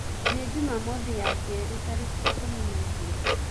nĩ jũmamothĩ ya kerĩ tarĩkĩĩkũmĩ naĩgĩrĩ